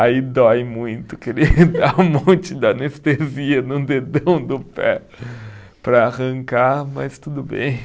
Aí dói muito, queria dar um monte de anestesia no dedão do pé para arrancar, mas tudo bem.